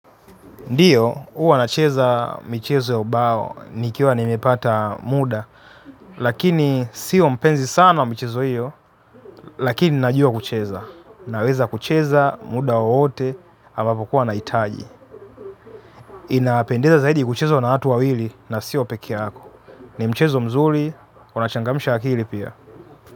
Ndiyo, huwa nacheza michezo ya ubao, nikiwa nimepata muda, lakini sio mpenzi sana wa michezo hiyo, lakini najua kucheza. Naweza kucheza, muda wowote, ambapo huwa nahitaji. Inapendeza zaidi kuchezwa na watu wawili, na sio peke yako. Ni mchezo mzuri, unachangamsha akili pia.